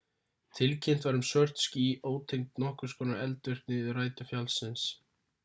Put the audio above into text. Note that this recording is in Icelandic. tilkynnt var um svört ský ótengd nokkurs konar eldvirkni við rætur fjallsins